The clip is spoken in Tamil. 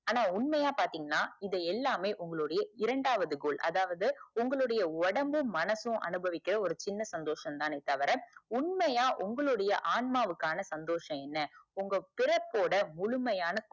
ஆண உண்மையா பாத்தீங்கனா இது எல்லாமே உங்களுடைய இரண்டாவது goal அதாவது உங்களுடைய ஒடம்பும் மனசும் அனுபவிக்குற சின்ன சந்தோஷம் தானே தவிர உண்மைய உங்களோட ஆன்மாக்குஆன சந்ஷோசம் என்ன உங்க பிறப்போட முழுமையான